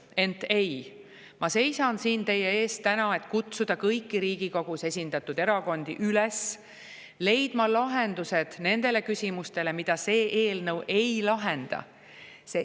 Ent ei, ma seisan täna siin teie ees, et kutsuda kõiki Riigikogus esindatud erakondi üles leidma lahendused nendele küsimustele, mida see eelnõu ei lahenda.